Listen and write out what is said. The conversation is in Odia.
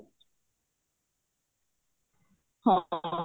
ହଁ